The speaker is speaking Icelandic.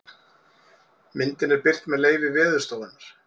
myndin er birt með leyfi veðurstofunnar